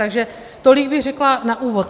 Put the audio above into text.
Takže tolik bych řekla na úvod.